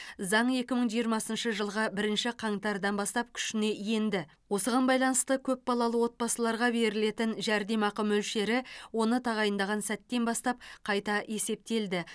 заң екі мың жиырмасыншы жылғы бірінші қаңтардан бастап күшіне енді осыған байланысты көпбалалы отбасыларға берілетін жәрдемақы мөлшері оны тағайындаған сәттен бастап қайта есептелді